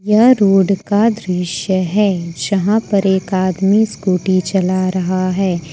यह रोड का दृश्य है जहां पर एक आदमी स्कूटी चला रहा है।